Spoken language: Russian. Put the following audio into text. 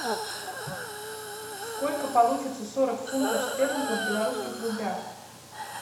сколько получится сорок фунтов стерлингов в белорусских рублях